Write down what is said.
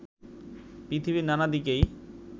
পৃথিবীর নানা দিকেই